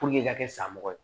i ka kɛ sanmɔgɔ ye